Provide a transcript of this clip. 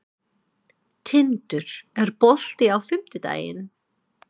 Tindur, er bolti á fimmtudaginn?